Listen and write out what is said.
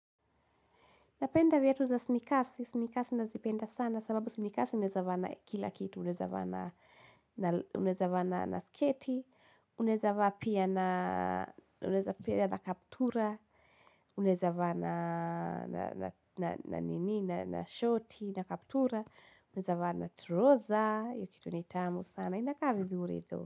Napenda vietu za sinikasi, sinikasi nazipenda sana sababu sinikasi uneza va na kila kitu, unezava na sketi, unezava pia na kaptura, unezava na nini, na shorty, na kaptura, unezava na troza, yukitu nitamu sana, inaka vizuri though.